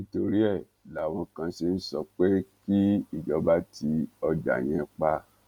nítorí ẹ láwọn kan ṣe ń sọ pé kí ìjọba ti ọjà yẹn pa